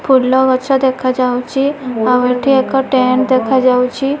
ଫୁଲଗଛ ଦେଖାଯାଉଚି ଆଉ ଏଠି ଏକ ଟେନ ଦେଖାଯାଉଛି।